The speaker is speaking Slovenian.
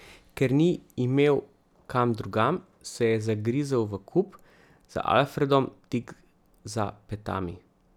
Ker ni imel kam drugam, se je zagrizel v kup, z Alfredom tik za petami.